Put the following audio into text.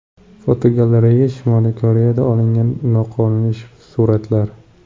Fotogalereya: Shimoliy Koreyada olingan noqonuniy suratlar.